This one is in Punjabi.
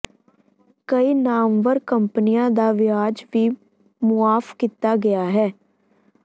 ਕਈ ਨਾਮਵਰ ਕੰਪਨੀਆਂ ਦਾ ਵਿਆਜ ਵੀ ਮੁਆਫ਼ ਕੀਤਾ ਗਿਆ ਹੈ